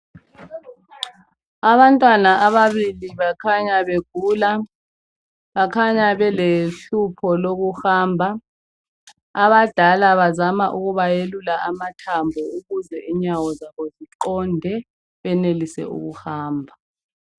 Abantwana ababili bakhanya begula. Bakhanya belohlupho lokuhamba. Abadala bazama ukuba yelula amathambo ukuze inyawo zabo ziqonde benelise ukuhamba.